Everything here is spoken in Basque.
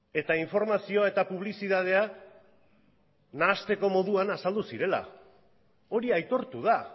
eta informazio eta publizitatea nahasteko moduan azaldu zirela hori aitortu da